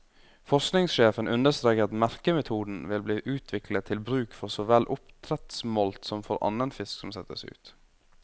Forskningssjefen understreker at merkemetoden vil bli utviklet til bruk for så vel oppdrettssmolt som for annen fisk som settes ut.